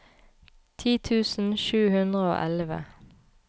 ti tusen sju hundre og elleve